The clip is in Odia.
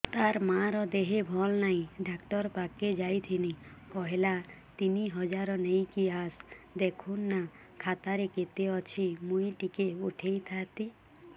ତାର ମାର ଦେହେ ଭଲ ନାଇଁ ଡାକ୍ତର ପଖକେ ଯାଈଥିନି କହିଲା ତିନ ହଜାର ନେଇକି ଆସ ଦେଖୁନ ନା ଖାତାରେ କେତେ ଅଛି ମୁଇଁ ଟିକେ ଉଠେଇ ଥାଇତି